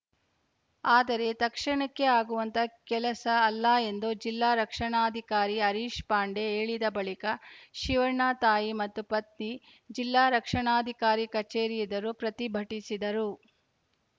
ಆದರೆ ತಕ್ಷಣಕ್ಕೆ ಆಗುವಂತಹ ಕೆಲಸ ಅಲ್ಲ ಎಂದು ಜಿಲ್ಲಾ ರಕ್ಷಣಾಧಿಕಾರಿ ಹರೀಶ್‌ ಪಾಂಡೆ ಹೇಳಿದ ಬಳಿಕ ಶಿವಣ್ಣ ತಾಯಿ ಮತ್ತು ಪತ್ನಿ ಜಿಲ್ಲಾ ರಕ್ಷಣಾಧಿಕಾರಿ ಕಚೇರಿ ಎದುರು ಪ್ರತಿಭಟಿಸಿದರು